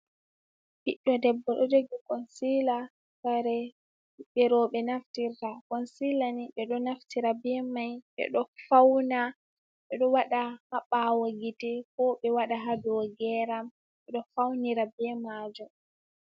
Ɓiɗdo debbo ɗo jogi konsila, kare ɓeɓɓe roɓe naftirta. Konsila ni ɓeɗo naftira be mai, ɓeɗo fauna, ɓeɗo waɗa ha ɓawo gite, ko ɓe waɓa ha dau geram. Ɓeɗo faunira be majum.